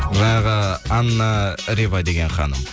жаңағы анна рева деген ханым